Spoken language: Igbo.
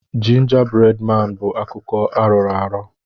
Jinja bred maan bụ akụkọ arọrọ arọ.